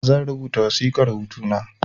Zan rubuta wasiƙar hutu na